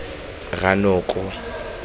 rranoko